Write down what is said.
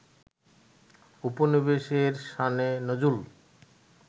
ঔপনিবেশের শানে নজুল